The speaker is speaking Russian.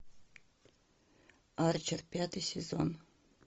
арчер пятый сезон